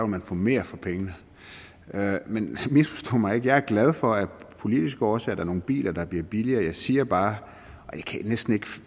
man få mere for pengene men misforstå mig ikke jeg er glad for at af politiske årsager er nogle biler der bliver billigere jeg siger bare